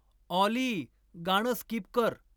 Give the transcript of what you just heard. ऑली गाणं स्किप कर